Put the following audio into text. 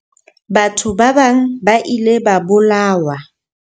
Batho ba bang ba ile ba bolawa.